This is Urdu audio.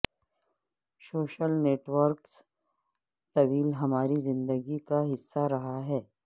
سوشل نیٹ ورکس طویل ہماری زندگی کا حصہ رہا ہے